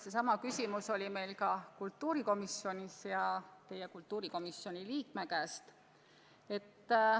Seesama küsimus kõlas meil ka kultuurikomisjonis.